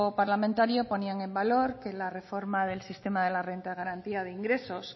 parlamentario ponía en valor que la reforma del sistema de la renta de garantía de ingresos